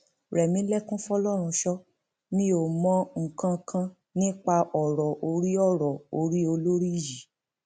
rẹmilekun fọlọrunsọ mi ò mọ nǹkan kan nípa ọrọ orí ọrọ orí olórí yìí